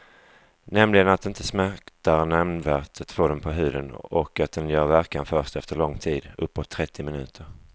Nämligen att det inte smärtar nämnvärt att få den på huden och att den gör verkan först efter lång tid, uppåt trettio minuter.